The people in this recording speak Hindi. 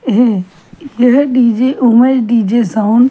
एह यह DJ Umesh _DJ sound.